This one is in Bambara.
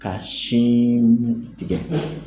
Ka sin tigɛ .